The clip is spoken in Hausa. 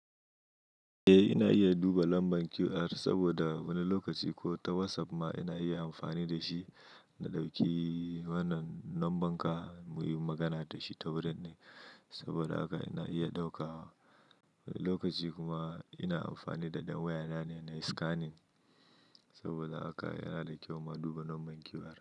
Eh ina iya duba lambar QR saboda wani lokaci ko ta WhatsApp ma ina iya amfani da shi. Na ɗauki wannan lambar ka mu yi magana da shi ta wurin ne saboda haka ina iya ɗauka lokaci kuma ina amfani da ɗan waya na ne scanning saboda haka yana da kyau ma duba lambar QR.